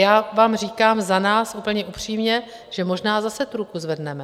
Já vám říkám za nás úplně upřímně, že možná zase tu ruku zvedneme.